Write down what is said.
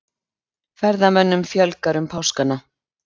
Ferðamönnum fjölgar um páskana